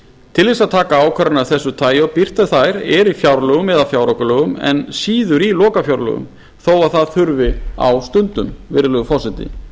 til þess að taka ákvarðanir af þessu tagi og birta þær er í fjárlögum eða fjáraukalögum en síður í lokafjárlögum þó það þurfi á stundum virðulegi forseti